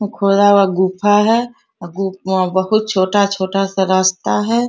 खुला हुआ गुफा है अ गु अ बहुत छोटा-छोटा सा रास्ता है।